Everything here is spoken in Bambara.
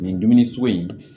Nin dumuni sugu in